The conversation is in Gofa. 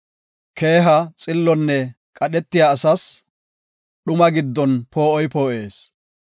Keeha, xillonne qadhetiya asas, dhuma giddon poo7oy poo7ees.